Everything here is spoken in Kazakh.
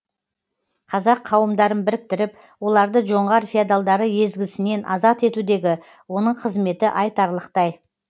қазақ қауымдарын біріктіріп оларды жоңғар феодалдары езгісінен азат етудегі оның қызметі айтарлықтай